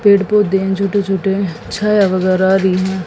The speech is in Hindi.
पेड़ पौधे हैं छोटे छोटे छाया वगैरह आ रही हैं।